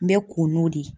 N bɛ ko n'o de ye